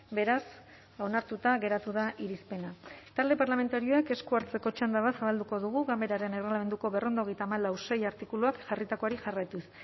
beraz onartuta geratu da irizpena talde parlamentarioek esku hartzeko txanda bat zabalduko dugu ganberaren erregelamenduko berrehun eta hogeita hamalau puntu sei artikuluak jarritakoari jarraituz